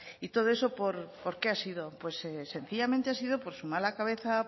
y todo eso por qué ha sido sencillamente ha sido por su mala cabeza